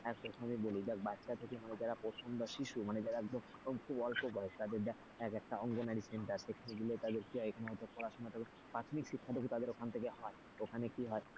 হ্যাঁ প্রথমেই বলি দেখ বাচ্ছা থাকে মানে যারা প্রথম প্রচন্ড শিশু মানে যারা একদম মানে যারা খুব অল্প বয়স তাদের দেখ একটা অঙ্গনারী সেন্টার আছে সেখানে গেলে পড়াশোনাটা প্রাথমিক শিক্ষাটা তাদের ওখান থেকে হয়। ওখানে কি হয়,